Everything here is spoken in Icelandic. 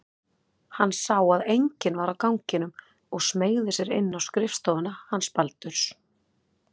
Hann sá að enginn var á ganginum og smeygði sér inn á skrifstofuna hans Baldurs.